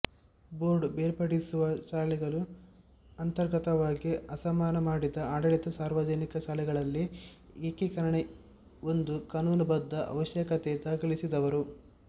board ಬೇರ್ಪಡಿಸುವ ಶಾಲೆಗಳು ಅಂತರ್ಗತವಾಗಿ ಅಸಮಾನ ಮಾಡಿದ ಆಡಳಿತ ಸಾರ್ವಜನಿಕ ಶಾಲೆಗಳಲ್ಲಿ ಏಕೀಕರಣ ಒಂದು ಕಾನೂನುಬದ್ಧ ಅವಶ್ಯಕತೆ ದಾಖಲಿಸಿದವರು